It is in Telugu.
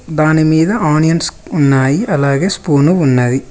దానిమీద ఆనియన్స్ ఉన్నాయి అలాగే స్పూను ఉన్నది.